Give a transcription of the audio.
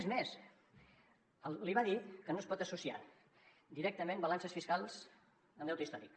és més li va dir que no es pot associar directament balances fiscals amb deute històric